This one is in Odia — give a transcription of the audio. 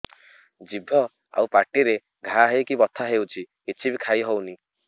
ଜିଭ ଆଉ ପାଟିରେ ଘା ହେଇକି ବଥା ହେଉଛି କିଛି ବି ଖାଇହଉନି